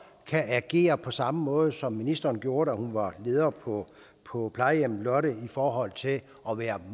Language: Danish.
kan agere på samme måde som ministeren gjorde da hun var leder på på plejehjemmet lotte i forhold til at være